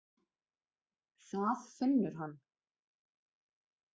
Það finnur hann.